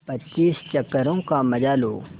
पच्चीस चक्करों का मजा लो